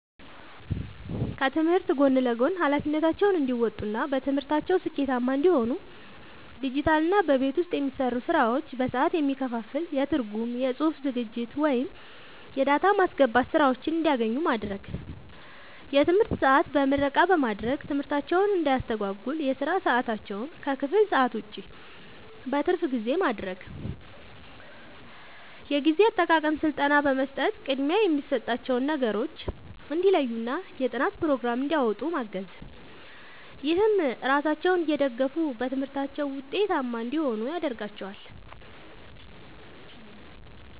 ከትምህርት ጎን ለጎን ኃላፊነታቸውን እንዲወጡ እና በትምህርታቸው ስኬታማ እንዲሆኑ ዲጂታልና በቤት ውስጥ የሚሰሩ ስራዎች በሰዓት የሚከፈል የትርጉም፣ የጽሑፍ ዝግጅት ወይም የዳታ ማስገባት ሥራዎችን እንዲያገኙ ማድረግ። የትምህርት ሰዓት በምረቃ በማድረግ ትምህርታቸውን እንዳያስተጓጉል የሥራ ሰዓታቸውን ከክፍል ሰዓት ውጭ (በትርፍ ጊዜ) ማድረግ። የጊዜ አጠቃቀም ሥልጠና በመስጠት ቅድሚያ የሚሰጣቸውን ነገሮች እንዲለዩና የጥናት ፕሮግራም እንዲያወጡ ማገዝ። ይህም ራሳቸውን እየደገፉ በትምህርታቸው ውጤታማ እንዲሆኑ ያደርጋቸዋል።